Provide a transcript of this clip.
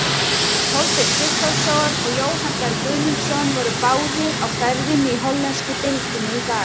Kolbeinn Sigþórsson og Jóhann Berg Guðmundsson voru báðir á ferðinni í hollensku deildinni í dag.